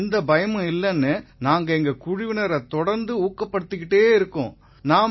இதில எந்த பயமும் இல்லைன்னு நாங்க எங்க குழுவினரை தொடர்ந்து ஊக்கப்படுத்திட்டே இருக்கோம்